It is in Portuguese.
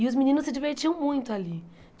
E os meninos se divertiam muito ali.